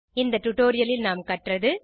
இந்த டியூட்டோரியல் நாம் கற்றது